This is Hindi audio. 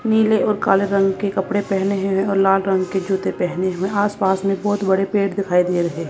नील और काले रंग के कपड़े पहने हैं और लाल रंग के जूते पहने हुए आस पास में बहोत बड़े पेड़ दिखाई दिए रहे--